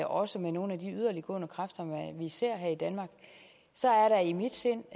også med nogle af de yderliggående kræfter vi ser her i danmark så er der i mit sind